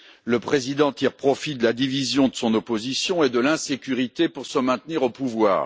Le président tire profit de la division de son opposition et de l'insécurité pour se maintenir au pouvoir.